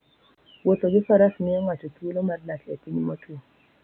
Wuotho gi Faras miyo ng'ato thuolo mar dak e piny motwo.